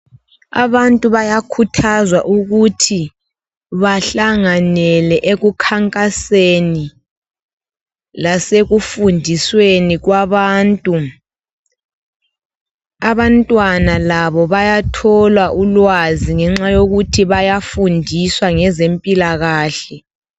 Abantu bayakhuthazwa ukuthi bahlanganele ekukhankaseni lasekufundisweni kwabantu , abantwana labo bayathola ulwazi ngenxa yokuthi bayafundiswa ngezempilakahle